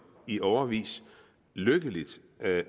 i årevis lykkeligt